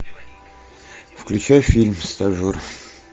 включай фильм стажер